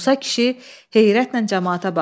Musa kişi heyrətlə camaata baxdı.